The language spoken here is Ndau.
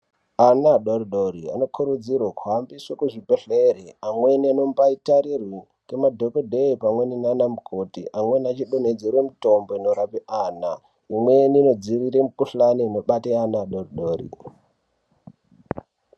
Ana adori-dori anokurudzirwe kuhambiswe kuzvibhedhlere, pamweni anombaitarirwe nemadhokodheya, pamweni naana mukoti pamweni achidonhedzerwe mitombo inorape ana, imweni inodziirire mikuhlani inobate ana adori-dori.